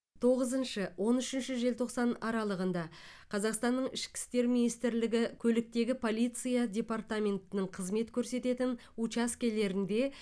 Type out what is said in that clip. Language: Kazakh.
тоғызыншы он үшінші желтоқсан аралығында қазақстанның ішкі істер министрлігі көліктегі полиция департаментінің қызмет көрсететін учаскелерінде